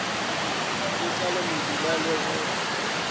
ke tlale mebila le go